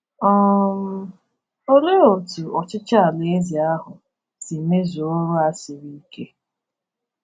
um Olee otú ọchịchị Alaeze ahụ si mezuo ọrụ a siri ike?